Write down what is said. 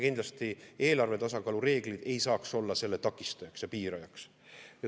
Kindlasti eelarve tasakaalu reeglid ei saa olla selle takistajaks ja piirajaks.